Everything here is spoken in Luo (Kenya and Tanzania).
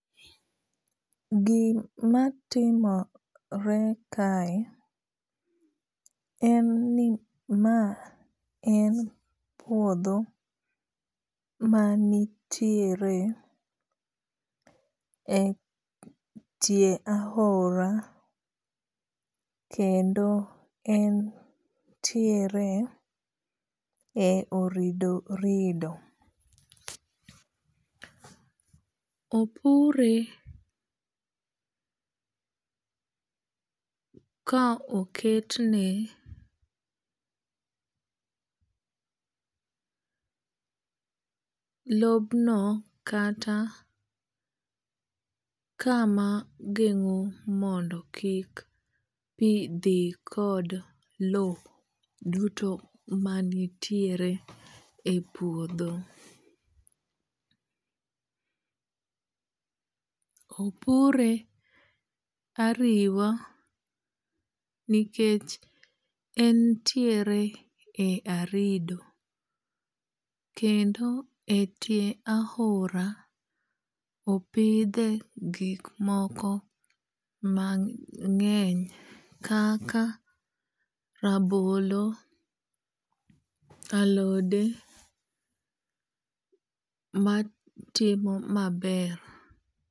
Gima timore kae en ni ma en puodho manitiere e tie ahora kendo entiere e orido rido. Opure ka oket ne lob no kata kama geng'o mondo kik pi dhi kod lo duto manitiere e puodho. Opure ariwa nikech entiere e arido. Kendo e tien ahora opidhe gik moko mang'eny kaka rabolo, alode matimo maber.